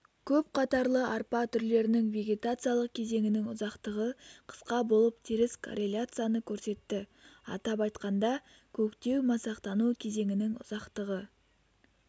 көпқатарлы арпа түрлерінің вегетациялық кезеңінің ұзақтығы қысқа болып теріс корреляцияны көрсетті атап айтқанда көктеу-масақтану кезеңінің ұзақтығы